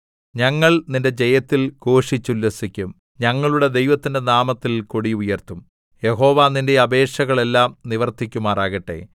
ഞങ്ങൾ നിന്റെ ജയത്തിൽ ഘോഷിച്ചുല്ലസിക്കും ഞങ്ങളുടെ ദൈവത്തിന്റെ നാമത്തിൽ കൊടി ഉയർത്തും യഹോവ നിന്റെ അപേക്ഷകളെല്ലാം നിവർത്തിക്കുമാറാകട്ടെ